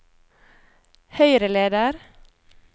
høyreleder